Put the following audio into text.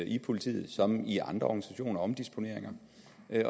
i politiet som i andre organisationer omdisponeringer